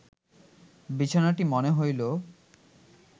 বিছানাটি মনে হইল